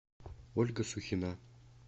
ольга сухина